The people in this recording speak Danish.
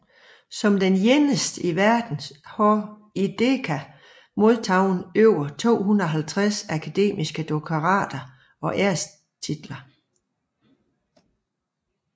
Som den eneste i verden har Ikeda modtaget over 250 akademiske doktorater og ærestitler